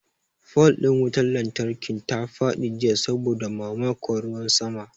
Fol ɗin wutar lantarkin ta faɗi jiya saboda mamakon ruwan sama.